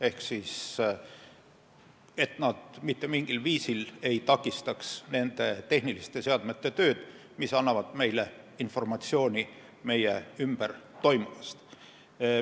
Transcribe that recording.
Ehk ehitus ei tohi mitte mingil viisil takistada nende tehniliste seadmete tööd, mis annavad meile informatsiooni meie ümber toimuvast.